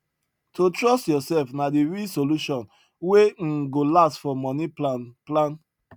to trust yourself na the real solution wey um go last for money plan plan